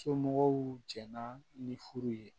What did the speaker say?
Somɔgɔw jɛnna ni furu ye